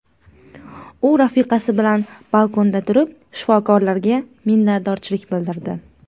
U rafiqasi bilan balkonda turib, shifokorlarga minnatdorchilik bildirdi.